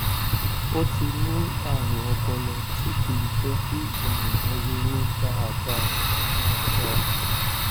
ó ti ní àrùn ọpọlọ tí kì í jẹ kí ènìyàn ronú dáadáa dáadáa